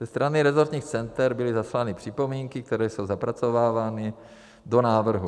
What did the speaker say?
Ze strany rezortních center byly zaslány připomínky, které jsou zapracovávány do návrhu.